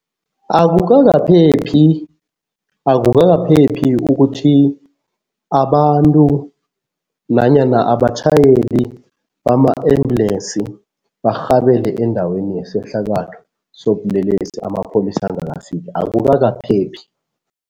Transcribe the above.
Akukakaphephi, akukakaphephi ukuthi abantu nanyana abatjhayeli bama-ambulensi barhabele endaweni yesehlakalo sobulelesi amapholisa angakafiki. Akukakaphephi.